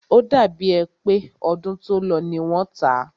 O dàbí è pé ọdún tó lọ ní wọ́n tá.